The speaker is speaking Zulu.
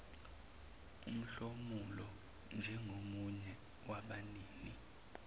umhlomulo njengomunye wabanini